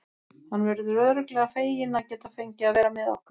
Hann verður örugglega feginn að geta fengið að vera með okkur.